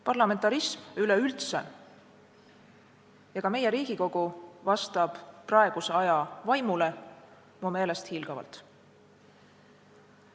Parlamentarism üleüldse ja ka meie Riigikogu vastab praeguse aja vaimule mu meelest hiilgavalt.